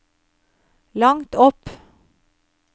langt opp